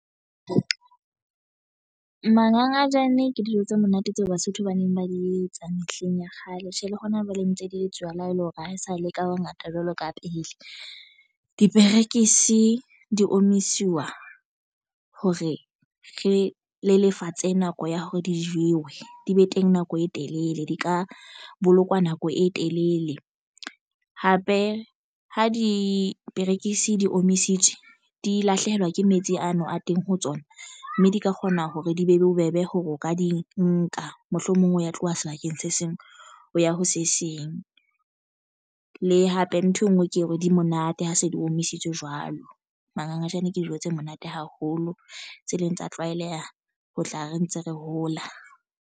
Mangangajane ke dijo tse monate tseo Basotho ba neng ba di etsa mehleng ya kgale tje le hona jwale ntse di etsuwa le ha ele hore ha e sa le ka bongata jwalo ka pele. Diperekisi di omiswa hore re le lefatshe nako ya hore di jewe di be teng nako e telele di ka bolokwa nako e telele hape ho diperekisi di omisitswe di lahlehelwa ke metsi ano a teng ho tsona, mme di ka kgona hore di be bobebe hore o ka di nka mohlomong o ya tloha sebakeng se seng ho ya ho se seng le hape nthwe e nngwe ke hore di monate ha se di omisitswe jwalo. Mangangajane ke dijo tse monate haholo tse leng tsa tlwaeleha. Ho tla re ntse re hola.